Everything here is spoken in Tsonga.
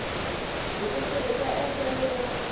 hi ku tirhisa endlelo ro